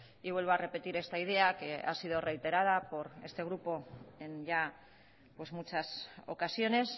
vuelvo a repetir esta idea que ha sido reiterada por este grupo en ya muchas ocasiones